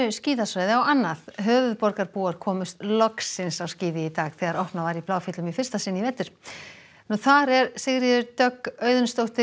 skíðasvæði á annað höfuðborgarbúar komust loksins á skíði í dag þegar opnað var í Bláfjöllum í fyrsta sinn í vetur þar er Sigríður Dögg Auðunsdóttir